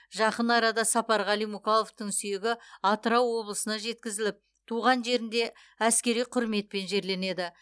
жақын арада сапарғали мукаловтың сүйегі атырау облысына жеткізіліп туған жерінде әскери құрметпен жерленеді